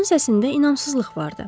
Onun səsində inamsızlıq vardı.